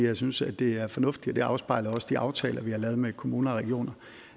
jeg synes at det er fornuftigt og det afspejler også de aftaler vi har lavet med kommuner og regioner